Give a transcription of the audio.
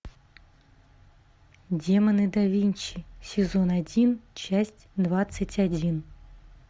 демоны да винчи сезон один часть двадцать один